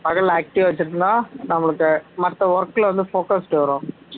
பகலில active ஆ வச்சிருந்தா நம்மளுக்கு மத்த work ல வந்து focus வரும்